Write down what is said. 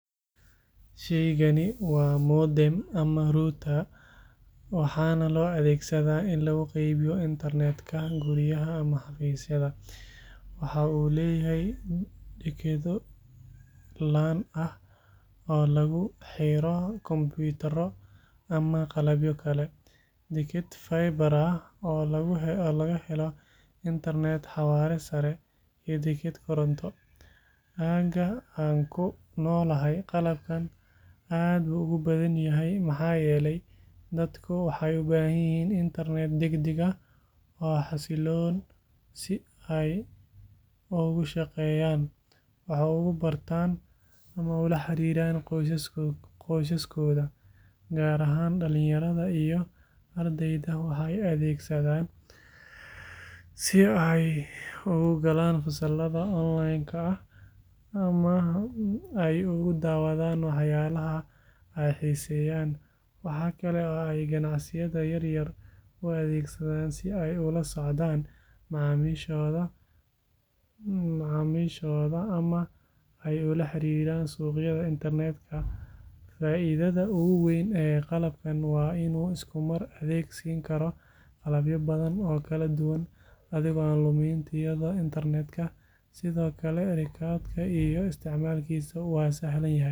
Shaygani waa modem ama router, waxaana loo adeegsadaa in lagu qaybiyo internet-ka guryaha ama xafiisyada. Waxaa uu leeyahay dekedo LAN ah oo lagu xiro kombuyuutarro ama qalabyo kale, deked fiber ah oo laga helo internet xawaare sare leh, iyo deked koronto. Aagga aan ku noolahay, qalabkan aad buu ugu badan yahay maxaa yeelay dadku waxay u baahan yihiin internet degdeg ah oo xasiloon si ay ugu shaqeeyaan, wax ugu bartaan ama ula xiriiraan qoysaskooda. Gaar ahaan dhalinyarada iyo ardayda waxay adeegsadaan si ay ugu galaan fasallada online-ka ah ama ay ugu daawadaan waxyaabaha ay xiiseeyaan. Waxa kale oo ay ganacsiyada yaryar u adeegsadaan si ay ula socdaan macaamiishooda ama ay ula xiriiraan suuqyada internet-ka. Faa’iidada ugu weyn ee qalabkan waa in uu isku mar adeeg siin karo qalabyo badan oo kala duwan, adigoo aan lumin tayada internet-ka. Sidoo kale, rakibidda iyo isticmaalkiisu waa sahlan yahay.